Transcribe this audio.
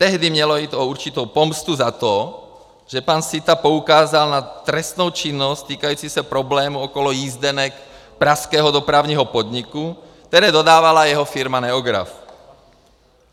Tehdy mělo jít o určitou pomstu za to, že pan Sitta poukázal na trestnou činnost týkající se problému okolo jízdenek pražského dopravního podniku, které dodávala jeho firma Neograph.